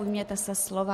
Ujměte se slova.